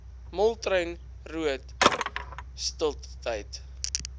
moltrein roodt stiltetyd